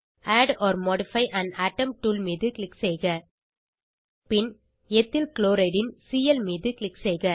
add or modify an atom tool மீது click செய்க பின் எத்தில் க்ளோரைட் ன் சிஎல் மீது க்ளிக் செய்க